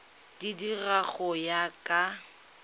di dira go ya ka